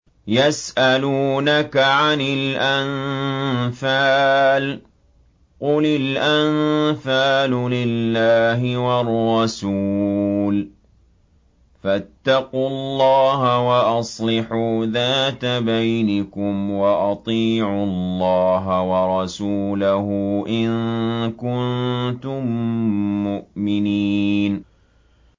يَسْأَلُونَكَ عَنِ الْأَنفَالِ ۖ قُلِ الْأَنفَالُ لِلَّهِ وَالرَّسُولِ ۖ فَاتَّقُوا اللَّهَ وَأَصْلِحُوا ذَاتَ بَيْنِكُمْ ۖ وَأَطِيعُوا اللَّهَ وَرَسُولَهُ إِن كُنتُم مُّؤْمِنِينَ